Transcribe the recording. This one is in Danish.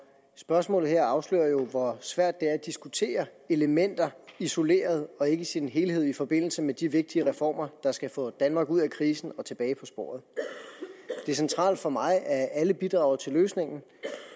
spørgsmålet her afslører jo hvor svært det er at diskutere elementer isoleret og ikke i sin helhed i forbindelse med de vigtige reformer der skal få danmark ud af krisen og tilbage på sporet det er centralt for mig at alle bidrager til løsningen